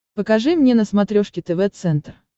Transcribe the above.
покажи мне на смотрешке тв центр